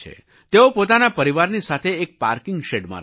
તેઓ પોતાના પરિવારની સાથે એક પાર્કિંગ શૅડમાં રહે છે